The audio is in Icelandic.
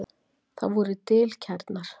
Það voru dilkærnar.